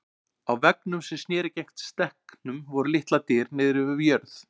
Á veggnum sem sneri gegnt stekknum voru litlar dyr niðri við jörð.